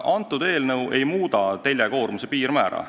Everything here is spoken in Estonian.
See eelnõu ei muuda teljekoormuse piirmäära.